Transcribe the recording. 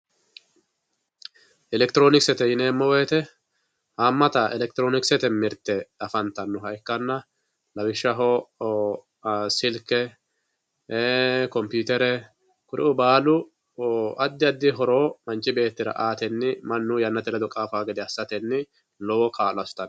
elekitiroonikisete yineemmo woyiite haammata elekitiroonikisete mirta afantannoha ikkaanna lawishshaho silke kompiitere kuriuu baalu addi addi horo manchibeettira aatenni mannu yannate ledo qaafawoo gede assatenni lowo kaa'lo assitanno